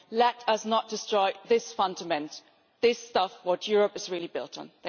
Let us not destroy this fundament, this stuff that Europe is really built on.